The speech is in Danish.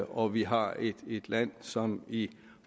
og vi har et land som i